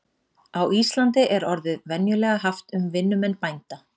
Á Íslandi er orðið venjulega haft um vinnumenn bænda.